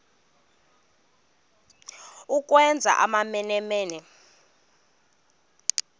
ukwenza amamene mene